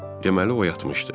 Deməli o yatmışdı.